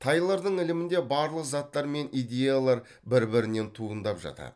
тайлордың ілімінде барлық заттар мен идеялар бір бірінен туындап жатады